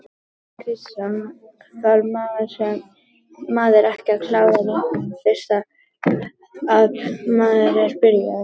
Kristinn Kristinsson: Þarf maður ekki að klára líkamann fyrst að maður er byrjaður?